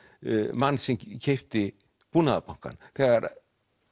mann sem keypti Búnaðarbankann þegar